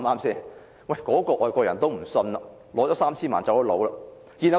那位外國人收取了 3,000 萬元後離職。